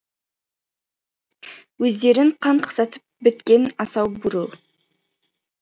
өздерін қан қақсатып біткен асау бурыл